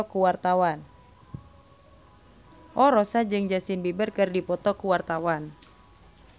Rossa jeung Justin Beiber keur dipoto ku wartawan